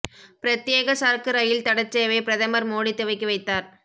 பிரத்யேக சரக்கு ரயில் தடச் சேவை பிரதமர் மோடி துவக்கி வைத்தார்